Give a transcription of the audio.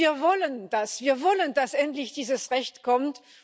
Wir wollen das. Wir wollen, dass endlich dieses Recht kommt.